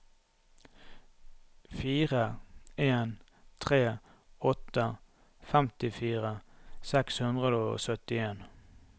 fire en tre åtte femtifire seks hundre og syttien